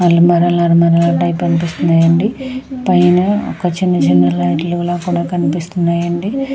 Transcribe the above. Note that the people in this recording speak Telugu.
అలమరాలు అలమరాల టైప్ అనిపిస్తున్నాయండి. పైన ఒక చిన్న చిన్న లైట్లు లా కూడా కనిపిస్తున్నాయండి.